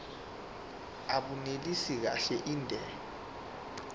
abunelisi kahle inde